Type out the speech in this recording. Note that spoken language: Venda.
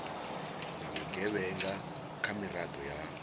na vhugevhenga nga miraḓo ya